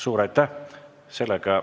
Suur aitäh!